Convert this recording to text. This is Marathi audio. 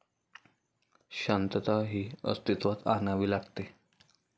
शांतता ही अस्तित्वात आणावी लागते.